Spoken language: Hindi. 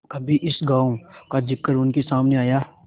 कभी इस गॉँव का जिक्र उनके सामने आया